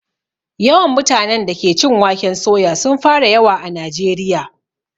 Yawan mutanen da ke cin waken soya sun fara yawa a najeriya